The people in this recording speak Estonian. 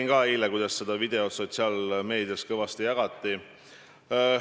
No ma nägin eile ka, kuidas seda videot sotsiaalmeedias kõvasti jagati.